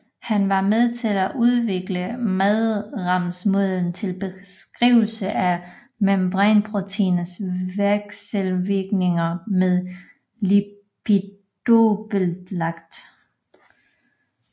Han var med til at udvikle madrasmodellen til beskrivelse af membranproteiners vekselvirkninger med lipiddobbeltlaget